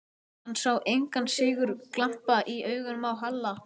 Hann sá engan sigurglampa í augunum á Halla.